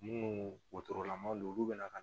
Munnu don olu bɛna